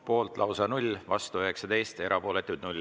Poolt lausa 0, vastu 19, erapooletuid 0.